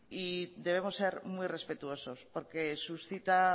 y debemos ser muy respetuosos porque suscita